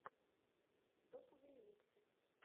топовые миксы